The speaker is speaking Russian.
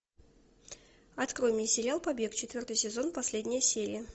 открой мне сериал побег четвертый сезон последняя серия